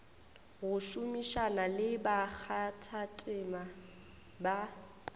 go šomišana le bakgathatema ba